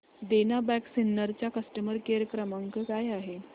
देना bank Sinnar चा customer care क्रमांक काय आहे